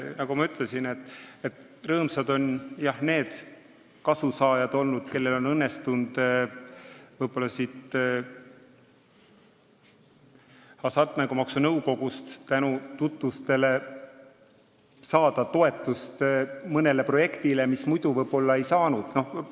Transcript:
Nagu ma ütlesin, rõõmsad on, jah, olnud need kasusaajad, kellel on õnnestunud Hasartmängumaksu Nõukogust tänu tutvustele saada toetust mõnele projektile, mis muidu võib-olla toetust ei oleks saanud.